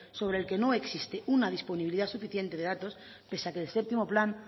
sobre el que no existe una disponibilidad suficiente de datos pese a que el séptimo plan